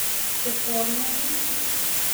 che bwanei